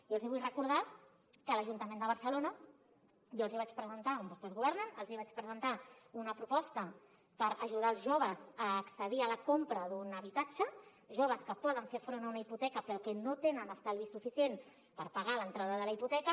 jo els hi vull recordar que a l’ajuntament de barcelona on vostès governen jo els hi vaig presentar una proposta per ajudar els joves a accedir a la compra d’un habitatge joves que poden fer front a una hipoteca però que no tenen estalvis suficients per pagar l’entrada de la hipoteca